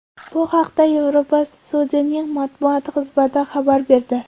Bu haqda Yevropa sudining matbuot xizmati xabar berdi .